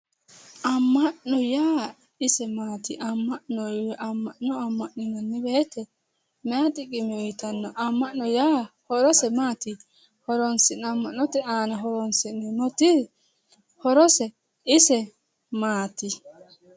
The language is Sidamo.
Amma'no yaa isi maati? amma'no amma'ninanni woyiite maayi xiqime uuyiitanno? amma'no yaa horose maati? amma'note horonsi'neemmoti ise horose maati?